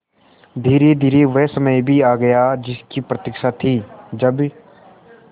धीरेधीरे वह समय भी आ गया जिसकी प्रतिक्षा थी जब